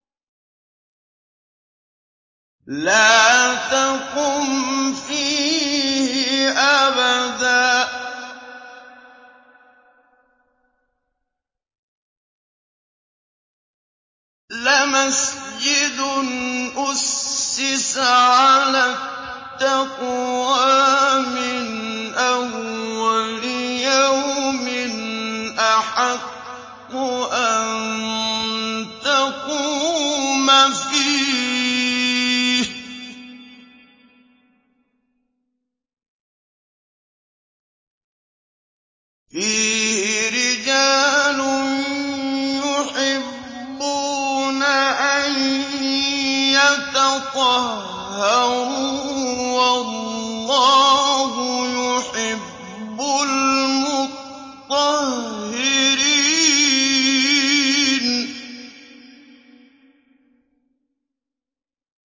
لَا تَقُمْ فِيهِ أَبَدًا ۚ لَّمَسْجِدٌ أُسِّسَ عَلَى التَّقْوَىٰ مِنْ أَوَّلِ يَوْمٍ أَحَقُّ أَن تَقُومَ فِيهِ ۚ فِيهِ رِجَالٌ يُحِبُّونَ أَن يَتَطَهَّرُوا ۚ وَاللَّهُ يُحِبُّ الْمُطَّهِّرِينَ